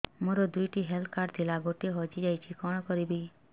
ମୋର ଦୁଇଟି health card ଥିଲା ଗୋଟିଏ ହଜି ଯାଇଛି କଣ କରିବି